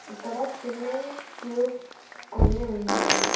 ఇక్కడ swimming tubes కొన్ని ఉన్నాయి.